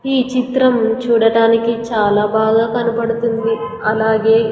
ఈ చిత్రం చూడటానికి చాలా బాగా కనపడుతుంది అలాగే--